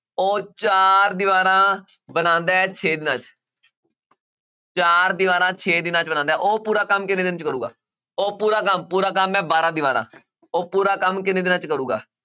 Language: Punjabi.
ਉਹ ਚਾਰ ਦੀਵਾਰਾਂ ਬਣਾਉਂਦਾ ਹੈ ਛੇ ਦਿਨਾਂ 'ਚ ਚਾਰ ਦੀਵਾਰਾਂ ਛੇ ਦਿਨਾਂ 'ਚ ਬਣਾਉਂਦਾ ਹੈ ਉਹ ਪੂਰਾ ਕੰਮ ਕਿੰਨੇ ਦਿਨ 'ਚ ਕਰੇਗਾ, ਉਹ ਪੂਰਾ ਕੰਮ ਪੂਰਾ ਕੰਮ ਹੈ ਬਾਰਾਂ ਦੀਵਾਰਾਂ ਉਹ ਪੂਰਾ ਕੰਮ ਕਿੰਨੇ ਦਿਨਾਂ 'ਚ ਕਰੇਗਾ?